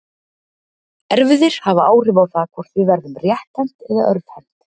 Erfðir hafa áhrif á það hvort við verðum rétthent eða örvhent.